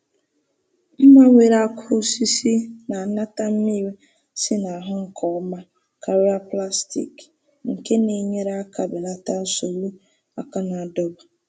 Mma nwere aka osisi na-anata mmiri si n'ahụ nke ọma karịa plastik, nke na-enyere aka belata nsogbu aka na-adọba.